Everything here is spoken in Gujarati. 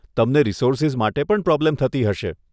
તમને રિસોર્સીઝ માટે પણ પ્રોબ્લેમ થતી હશે.